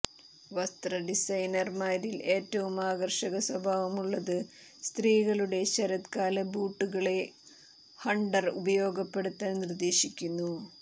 വസ്ത്ര ഡിസൈനർമാരിൽ ഏറ്റവും ആകർഷക സ്വഭാവമുള്ളത് സ്ത്രീകളുടെ ശരത്കാല ബൂട്ടുകളെ ഹണ്ടർ ഉപയോഗപ്പെടുത്താൻ നിർദ്ദേശിക്കുന്നു